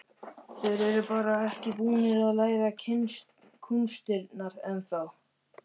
Þeir eru bara ekki búnir að læra kúnstirnar ennþá.